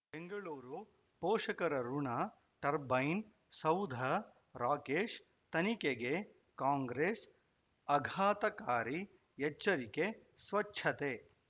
ಬೆಂಗಳೂರು ಪೋಷಕರಋಣ ಟರ್ಬೈನ ಸೌಧ ರಾಕೇಶ್ ತನಿಖೆಗೆ ಕಾಂಗ್ರೆಸ್ ಆಘಾತಕಾರಿ ಎಚ್ಚರಿಕೆ ಸ್ವಚ್ಛತೆ